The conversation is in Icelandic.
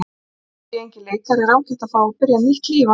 Þótt ég sé enginn leikari er ágætt að fá að byrja nýtt líf annað slagið.